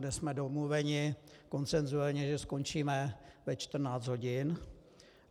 Dnes jsme domluveni konsenzuálně, že skončíme ve 14 hodin.